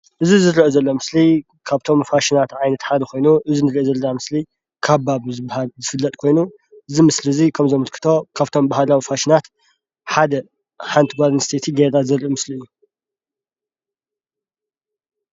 እዚ ዝርአ ዘሎ ምስሊ ካብቶም ፋሽናት ዓይነት ሓደ ኮይኑ፤ እዚ ንሪኦ ዘለና ምስሊ ካባ ብዝበሃል ዝፍለጥ ኮይኑ እዚ ምስሊ እዚ ከምዘምልክቶ ካብቶም ባህላዊ ፋሽናት ሓደ ሓንቲ ጓል ኣንስተይቲ ገይራ ዘርኢ ምስሊ እዩ፡፡